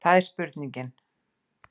Það er spurningin.